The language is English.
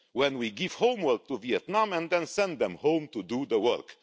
When we give homework to Vietnam and then send them home to do the work.